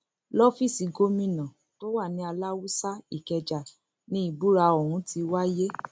lọfíìsì gómìnà tó wà ní aláàsù ikeja ni ìbúra ọhún ti wáyé